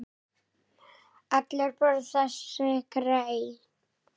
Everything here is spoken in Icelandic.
Allir borða þessi grey.